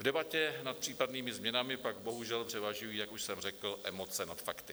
V debatě nad případnými změnami pak bohužel převažují, jak už jsem řekl, emoce nad fakty.